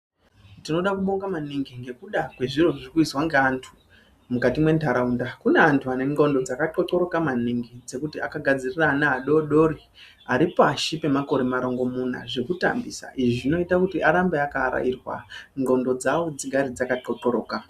Tinoda kubonga maningi ngekuda kwezviro zviri kuizwa ngeantu mukati mwentaraunda. Kune antu ane ndxondo dzakatxotxoroka maningi dzekuti akagadzirira ana adodori aripashi pemakore marongomuna zvekutambisa zvinoita kuti arambe akaarairwa kuti ndxondo dzavo dzigare dzakaxot xoroka.